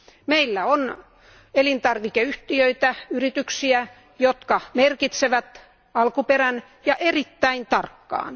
Meillä on elintarvikeyhtiöitä, yrityksiä, jotka merkitsevät alkuperän ja erittäin tarkkaan.